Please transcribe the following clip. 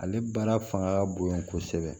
Ale baara fanga ka bon kosɛbɛ